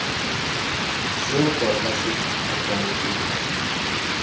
seo tota se tlhokwang ke